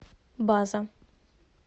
база